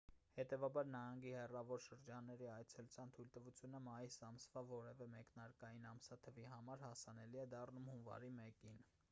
հետևաբար նահանգի հեռավոր շրջանների այցելության թույլտվությունը մայիս ամսվա որևէ մեկնարկային ամսաթվի համար հասանելի է դառնում հունվարի 1-ին